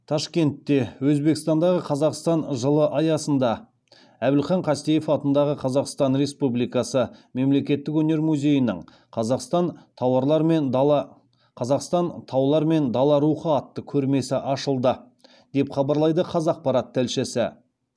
ташкентте өзбекстандағы қазақстан жылы аясында әбілхан қастеев атындағы қазақстан республикасы мемлекеттік өнер музейінің қазақстан таулар мен дала рухы атты көрмесі ашылды деп хабарлайды қазақпарат тілшісі